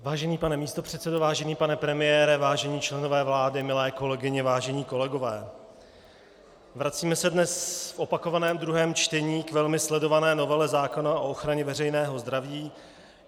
Vážený pane místopředsedo, vážený pane premiére, vážení členové vlády, milé kolegyně, vážení kolegové, vracíme se dnes v opakovaném druhém čtení k velmi sledované novele zákona o ochraně veřejného zdraví.